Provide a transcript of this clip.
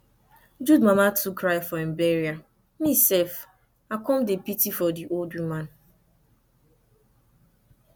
jude mama too cry for im bural me sef i come dey pity for the old woman